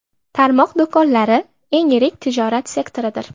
Tarmoq do‘konlari eng yirik tijorat sektoridir.